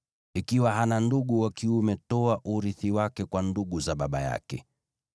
Ikiwa hana ndugu wa kiume toa urithi wake kwa ndugu za baba yake.